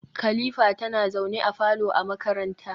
kalifa tana zaune a falo a makaranta